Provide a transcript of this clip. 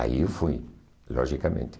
Aí eu fui, logicamente.